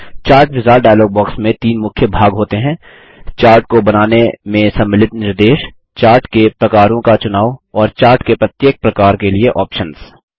chart wizard dialog box में तीन मुख्य भाग होते हैं चार्ट को बनाने में सम्मिलित निर्देश चार्ट के प्रकारों का चुनाव और चार्ट के प्रत्येक प्रकार के लिए ऑप्शन्स